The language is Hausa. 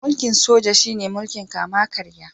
Mulkin Soja shi ne mulkin kama karya.